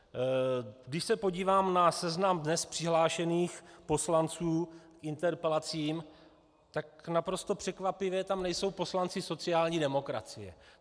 Když se podívám na seznam dnes přihlášených poslanců k interpelacím, tak naprosto překvapivě tam nejsou poslanci sociální demokracie.